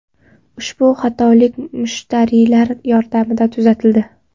Ushbu xatolik mushtariylar yordamida tuzatildi.